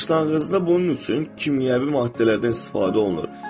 Başlanğıcda bunun üçün kimyəvi maddələrdən istifadə olunur.